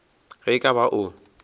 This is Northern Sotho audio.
ge e ka ba o